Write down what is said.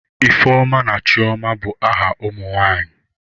Ifeoma na Chioma bụ aha ụmụ nwanyị.